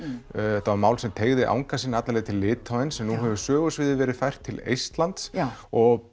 þetta var mál sem teygði anga sína alla leið til Litáens en nú hefur sögusviðið verið fært til Eistlands og